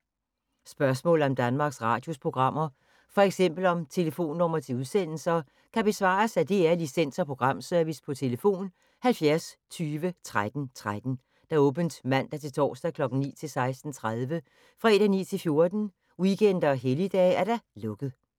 Spørgsmål om Danmarks Radios programmer, f.eks. om telefonnumre til udsendelser, kan besvares af DR Licens- og Programservice: tlf. 70 20 13 13, åbent mandag-torsdag 9.00-16.30, fredag 9.00-14.00, weekender og helligdage: lukket.